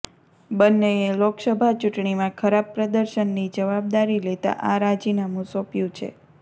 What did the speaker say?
બંનેએ લોકસભા ચૂંટણીમાં ખરાબ પ્રદર્શનની જવાબદકારી લેતા આ રાજીનામું સોંપ્યું છે